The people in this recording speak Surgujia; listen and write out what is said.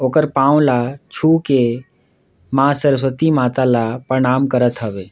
ओकर पाँव ल छुके माँ सरस्वती माता ल प्रणाम करत हवे।